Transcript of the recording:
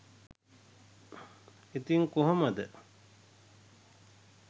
ඉතින් කොහොම ද